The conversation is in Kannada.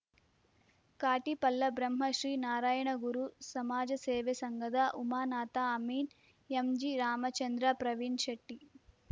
ಕಾಟಿಪಳ್ಳ ಬ್ರಹ್ಮಶ್ರೀ ನಾರಾಯಣಗುರು ಸಮಾಜಸೇವಾಸಂಘದ ಉಮಾನಾಥ ಅಮೀನ್ ಎಂಜಿ ರಾಮಚಂದ್ರ ಪ್ರವೀಣ್ ಶೆಟ್ಟಿ